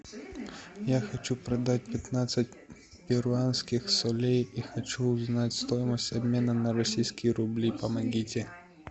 я хочу продать пятнадцать перуанских солей и хочу узнать стоимость обмена на российские рубли помогите